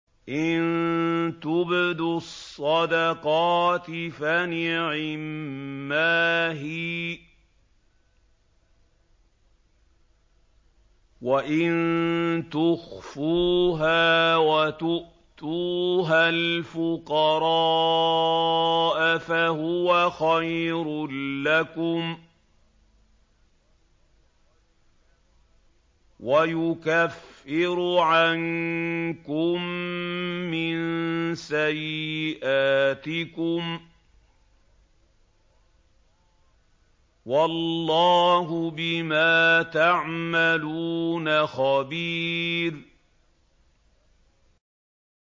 إِن تُبْدُوا الصَّدَقَاتِ فَنِعِمَّا هِيَ ۖ وَإِن تُخْفُوهَا وَتُؤْتُوهَا الْفُقَرَاءَ فَهُوَ خَيْرٌ لَّكُمْ ۚ وَيُكَفِّرُ عَنكُم مِّن سَيِّئَاتِكُمْ ۗ وَاللَّهُ بِمَا تَعْمَلُونَ خَبِيرٌ